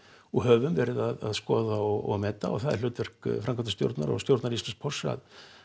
og höfum verið að skoða og meta og það er hlutverk framkvæmdarstjórnar og stjórnar Íslandspósts að